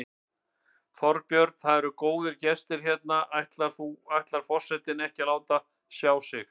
Þorbjörn: Og það eru góðir gestir hérna, ætlar ekki forsetinn að láta sjá sig?